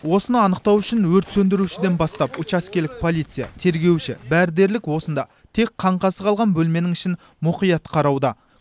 осыны анықтау үшін өрт сөндірушіден бастап учаскелік полицей тергеуші бәрі дерлік осында тек қаңқасы қалған бөлменің ішін мұқият қарауда